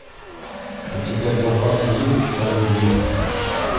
у тебя в запасе есть о любви